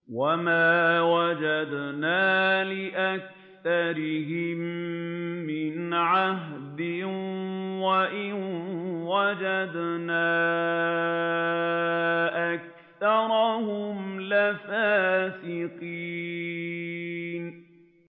وَمَا وَجَدْنَا لِأَكْثَرِهِم مِّنْ عَهْدٍ ۖ وَإِن وَجَدْنَا أَكْثَرَهُمْ لَفَاسِقِينَ